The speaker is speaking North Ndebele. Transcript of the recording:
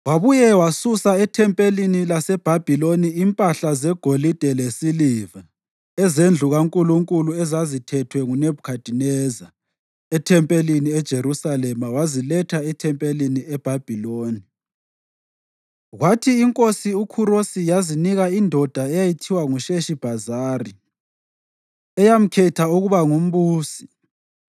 Wabuye wasusa ethempelini laseBhabhiloni impahla zegolide lesiliva ezendlu kaNkulunkulu ezazithethwe nguNebhukhadineza ethempelini eJerusalema waziletha ethempelini eBhabhiloni. Kwathi iNkosi uKhurosi yazinika indoda eyayithiwa nguSheshibhazari, eyamkhetha ukuba ngumbusi,